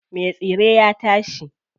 Me tsire ya tashi.